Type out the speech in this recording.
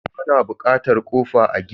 Ana bukatar kofa a gini.